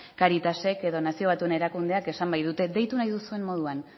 cáritasek edo nazio batuen erakundeak esan baitute deitu nahi duzuen moduan